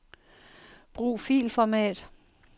Brug filformat.